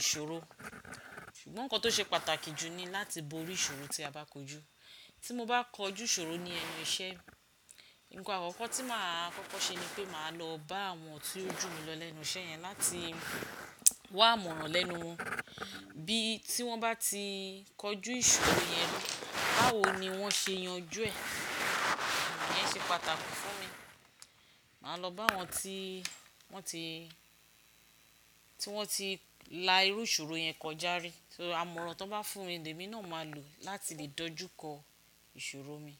ìṣòro. Ṣùgbọ́n nǹkan tó ṣe pàtàkì jù ni láti borí ìṣòro tí a bá kojú. Tí mo bá kọjú ìṣòro ní ẹnu iṣẹ́, nǹkan àkọ́kọ́ tí màá kọ́kọ́ ṣe ni pé màá lọ bá àwọn tí ó jù mi lọ lẹ́nu iṣẹ́ yẹn láti wá amọran lẹ́nu wọn bí tí wọ́n bá ti kọjú ìṣòro yẹn rí, báwo ni wọ́n ṣe yanjú ẹ̀. Iyẹn ṣe pàtàkì fún mi. Màá lọ bá àwọn tí wọ́n ti, tí wọ́n ti la irú ìṣòro yẹn kọjá rí. So àmọ̀ran tọ́n bá fún mi, lemi náà ma lò láti lè dojú kọ ìṣòro mi.